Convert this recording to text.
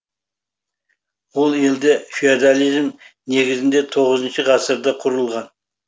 ол елде феодализм негізінде тоғызыншы ғасырда құрылған